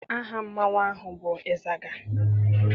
Aha mmanwụ ahụ bụ ịzaga.